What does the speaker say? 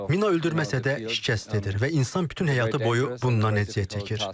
Mina öldürməsə də şikəst edir və insan bütün həyatı boyu bundan əziyyət çəkir.